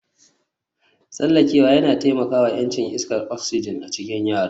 Tsallakewa yana taimaka wa ƴancin iskar oxygen a cikin yara